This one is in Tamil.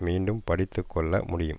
மீண்டும் படித்து கொள்ள முடியும்